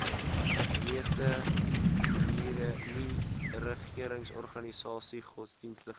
meeste nieregeringsorganisasies godsdienstige